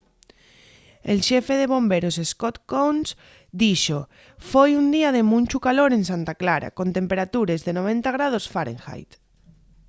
el xefe de bomberos scott kouns dixo: foi un día de munchu calor en santa clara con temperatures de 90º fahrenheit